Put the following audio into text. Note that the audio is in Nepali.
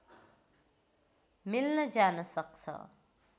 मिल्न जान सक्छ